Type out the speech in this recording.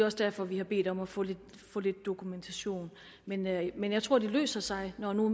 også derfor vi har bedt om at få lidt dokumentation men jeg men jeg tror at det løser sig når nu